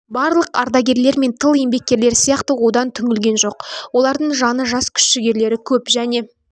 барлық ардагерлер мен тыл еңбеккерлері сияқты одан түңілген жоқ олардың жаны жас күш-жігерлері көп және